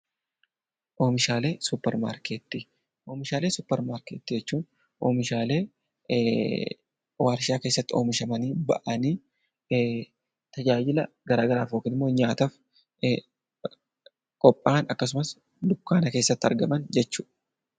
Oomishaalee suupparmaarkeetii jechuun oomishaalee warshaa keessatti oomishamanii tajaajila garaagaraatiif yookiin dukkaana keessatti argaman jechuudha